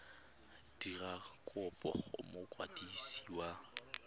dira kopo go mokwadisi wa